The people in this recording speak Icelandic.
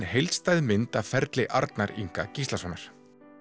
heildstæð mynd af ferli Arnar Inga Gíslasonar